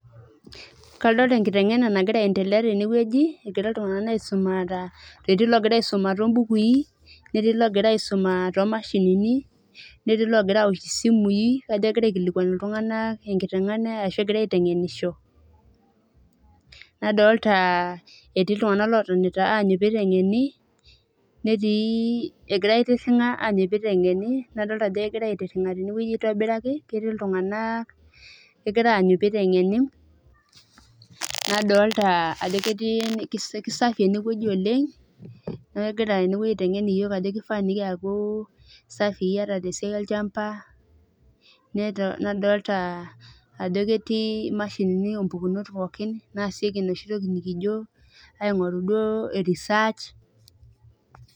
Kadolita enkiteng'ena nagira endelea tenewuaji egira iltung'ana soma etii logira soma bookuyi netii logira ai soma too mashinini netii logira aosh esimui kajo kagira aikilikuan iltung'ana enkiteng'ena arashu egira aitengeng'enisho nadolita etii iltung'ana otonitite anyu peyie eiteng'ene netii egira aitiring'a anyu peyie eiteng'ene nadolita Ajo kegira aitiring'a tenewuaji aitobiraki ketii iltung'ana egira anyu pee eiteng'ene nadolita Ajo kisapuk ene wueji oleng neeku kegira ene wuaji aiteng'ena iyiok Ajo keifaa nikiaku safi ataa tee siai olchamba nadolita ajo ketii mashini oo mpukunot pookin naasieki enoshi toki nikijo aing'oru duo research